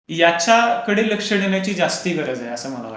याच्याकडे लक्ष देण्याची जास्त गरज आहे.